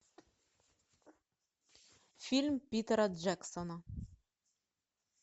фильм питера джексона